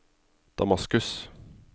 Damaskus